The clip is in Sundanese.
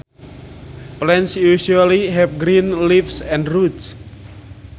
Plants usually have green leaves and roots